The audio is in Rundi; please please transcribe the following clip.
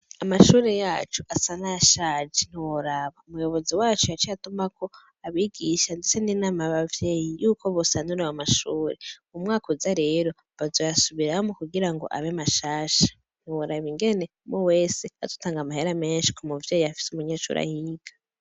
Amashure yacu asa nayashaje ntiworaba. Umuyobozi wacu yaciye atumako abigisha ndetse n'inama yabavyeyi yuko bosanura ayo mashure. Mumwakuza rero bazoyasubiramwo kugirango abe mashasha, ntiworaba ingene umwe wese azotanga amahera menshi kumuvyeyi afise umunyeshure ahiga.